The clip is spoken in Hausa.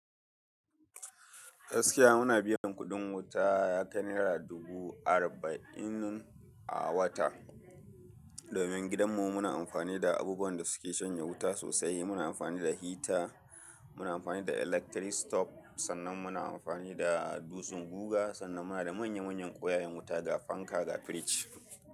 Gaskiya muna biyan kuɗin wuta ya kai naira dubu arba'in a wata. Domin gidanmu muna amfani da abubuwan da suke shanye wuta sosai. Muna amfani da hita, muna amfani da electric stop, sannan muna amfani da dutsen guga, sannan muna da manya manyan ƙoyayen wuta da fanka da firij.